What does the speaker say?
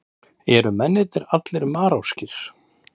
Eru mennirnir allir Marokkóskir